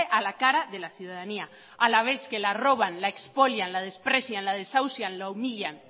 a la cara de la ciudadanía a la vez que la roban la expolian la desprecian la desahucian la humillan